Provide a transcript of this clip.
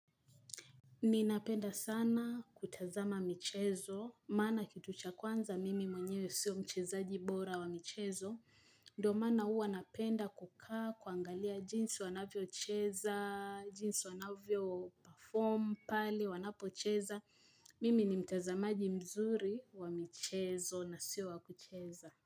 Ninapenda sana kutazama michezo, maana kitu cha kwanza mimi mwenyewe sio mchezaji bora wa michezo, ndio maana huwa napenda kukaa kuangalia jinsi wanavyo cheza, jinsi wanavyo perform, pale wanapo cheza, mimi ni mtazamaji mzuri wa michezo na sio wakucheza.